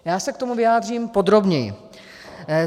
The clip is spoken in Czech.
Já se k tomu vyjádřím podrobněji.